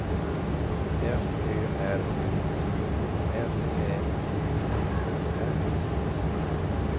F Ö R U T S Ä T T E R